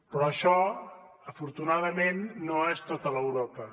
però això afortunadament no és tota l’europa